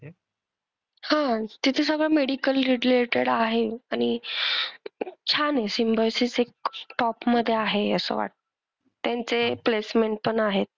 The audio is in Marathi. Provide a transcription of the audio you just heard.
हां तिथे सगळं medical related आहे आणि अं छान आहे सिम्बायोसिस एक top मधे आहे असं. त्यांचे placement पण आहेत.